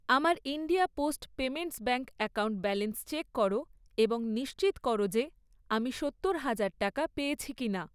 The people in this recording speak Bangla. আমার India post payments bank account balance check করো এবং নিশ্চিত করো যে, আমি সত্তর হাজার টাকা পেয়েছি কিনা।